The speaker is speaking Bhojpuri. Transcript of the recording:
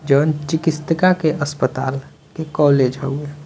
जोन चिकित्सिका के अस्पताल के कॉलेज हवे।